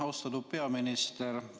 Austatud peaminister!